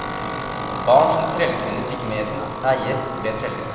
Barn som trellkvinner fikk med sin eier, ble treller.